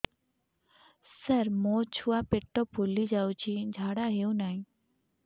ସାର ମୋ ଛୁଆ ପେଟ ଫୁଲି ଯାଉଛି ଝାଡ଼ା ହେଉନାହିଁ